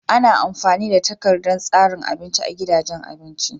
Ana amfani da takardar tsarin abinci a gidajen abinci.